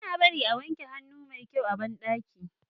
bana barin a wanke hannun maiko a banɗaki